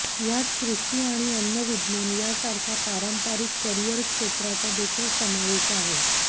यात कृषी आणि अन्न विज्ञान यासारख्या पारंपारिक करिअर क्षेत्राचा देखील समावेश आहे